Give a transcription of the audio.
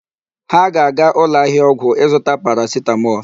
Ha ga-aga ụlọ ahịa ọgwụ ịzụta paracetamol.